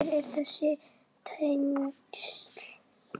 Hver eru þessi tengsl?